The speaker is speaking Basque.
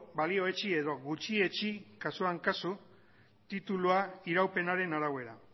balioetsi edo gutxietsi kasuan kasu titulua iraupenaren arabera